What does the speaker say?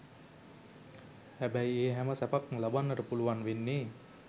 හැබැයි ඒ හැම සැපක්ම ලබන්නට පුළුවන් වෙන්නේ